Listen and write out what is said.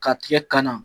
Ka tigɛ kana